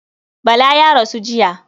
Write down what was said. Bala ya rasu jiya.